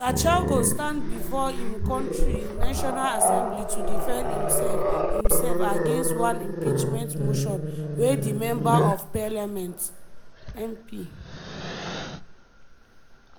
gachagua stand before im kontri national assembly to defend imsef imsef against one impeachment motion wey di member of parliament (mp)